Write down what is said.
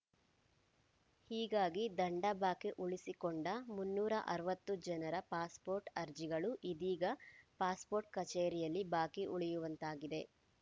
ಹೀಗಾಗಿ ದಂಡ ಬಾಕಿ ಉಳಿಸಿಕೊಂಡ ಮುನ್ನೂರ ಅರವತ್ತು ಜನರ ಪಾಸ್‌ಪೋರ್ಟ್‌ ಅರ್ಜಿಗಳು ಇದೀಗ ಪಾಸ್‌ಪೋರ್ಟ್‌ ಕಚೇರಿಯಲ್ಲಿ ಬಾಕಿ ಉಳಿಯುವಂತಾಗಿದೆ